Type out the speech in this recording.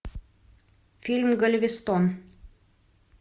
фильм галвестон